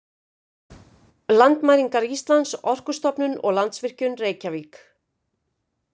Landmælingar Íslands, Orkustofnun og Landsvirkjun, Reykjavík.